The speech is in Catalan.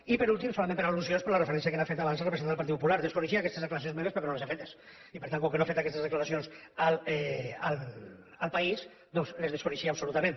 i per últim solament per al·lusions per la referència que hi ha fet abans el representant del partit popular desconeixia aquestes declaracions meves perquè no les he fetes i per tant com que no he fet aquestes declaracions a el país doncs les desconeixia absolutament